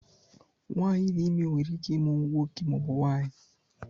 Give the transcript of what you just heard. Nwanyị di ime nwere ike ịmụ nwoke maọbụ nwanyi